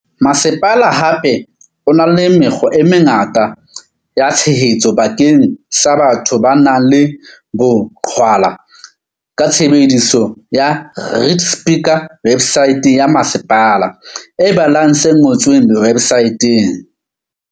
Masepala hape o na le mekgwa e mengata ya tshehetso bakeng sa batho ba nang le boqhwala ka tshebediso ya read speaker websaeteng ya masepala e balang se ngotsweng websaeteng.